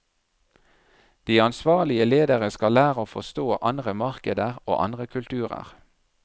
De ansvarlige ledere skal lære å forstå andre markeder og andre kulturer.